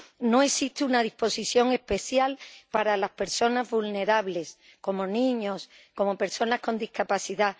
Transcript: No existe una disposición especial para las personas vulnerables, como niños, como personas con discapacidad.